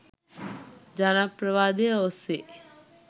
ජනප්‍රවාදය ඔස්සේ